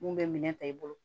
Mun bɛ minɛ ta i bolo